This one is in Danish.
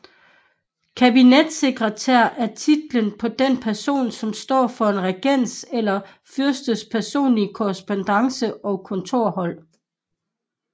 Kabinetssekretær er titlen på den person som står for en regents eller fyrstes personlige korrespondance og kontorhold